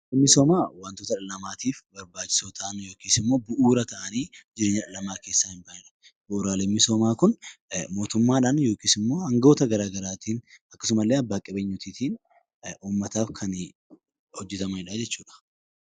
Bu'uuraaleen misoomaa wantoota dhala namaatiif barbaachisaa ta'anii yookiin immoo bu'uura ta'anii jireenya dhala namaa keessaa hin baanedha. Bu'uuraaleen misoomaa Kun mootummaadhan yookiin angoota garagaraatiin yookiin abbaa qabeenyotaatiin uummataaf kan hojetamu jechuudha.